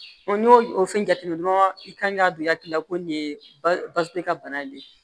n y'o o fɛn jateminɛ dɔrɔn i kan k'a don i hakili la ko nin ye basi ka bana de ye